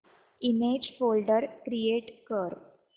image folder create कर